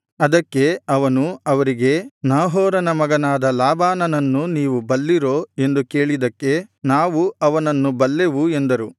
ಅದಕ್ಕೆ ಅವನು ಅವರಿಗೆ ನಾಹೋರನ ಮಗನಾದ ಲಾಬಾನನನ್ನು ನೀವು ಬಲ್ಲಿರೋ ಎಂದು ಕೇಳಿದ್ದಕ್ಕೆ ನಾವು ಅವನನ್ನು ಬಲ್ಲೆವು ಎಂದರು